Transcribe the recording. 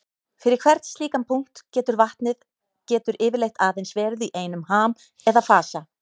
Fyrir hvern slíkan punkt getur vatnið getur yfirleitt aðeins verið í einum ham eða fasa.